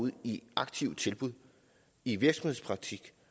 ud i aktive tilbud i virksomhedspraktik